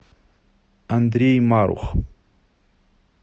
андрей марух